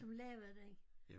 Som lavede det ik